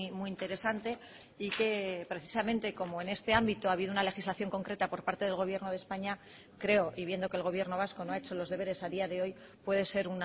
muy interesante y que precisamente como en este ámbito ha habido una legislación concreta por parte del gobierno de españa creo y viendo que el gobierno vasco no ha hecho los deberes a día de hoy puede ser